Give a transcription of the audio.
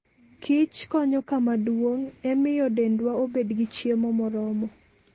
Kich konyo kama duong' e miyo dendwa obed gi chiemo moromo.